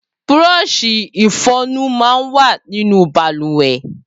Búrọ́ọ̀ṣi ìfọyín mà n wà ninú bàlùwẹ̀